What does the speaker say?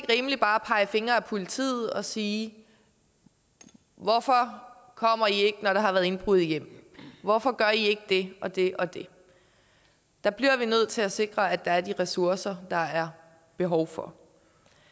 rimeligt bare at pege fingre ad politiet og sige hvorfor kommer i ikke når der har været indbrud i hjemmet hvorfor gør i ikke det og det og det der bliver vi nødt til at sikre at der er de ressourcer der er behov for